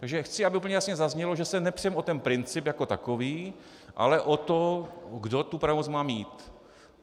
Takže chci, aby úplně jasně zaznělo, že se nepřeme o ten princip jako takový, ale o to, kdo tu pravomoc má mít.